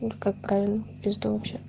как правильно писать